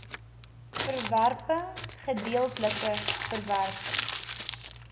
verwerping gedeeltelike verwerping